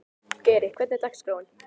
Geri, hvernig er dagskráin?